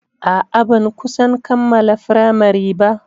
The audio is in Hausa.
A'a, ban kusan kammala firamari ba.